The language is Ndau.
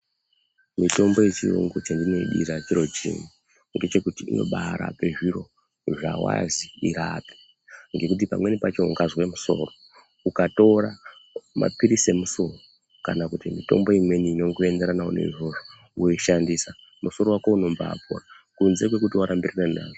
Mitombo yechiyungu chendinoidira chiro chimwe ngechekuti inobarape zviro zvawazwi irape ngokuti pamweni pacho ukazwe musoro ukatora mapilisi emusoro kana kuti mitombo imweni inongoenderanawo neizvozvo woishandisa musoro wako unombapora kunze kwekuti warambirirana nazvo.